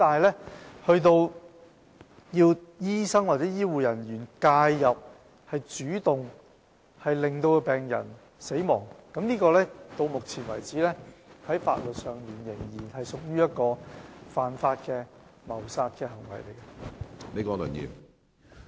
不過，由醫生或醫護人員介入並主動令病人死亡的行為，到目前為止，在法律上仍屬犯法的謀殺行為。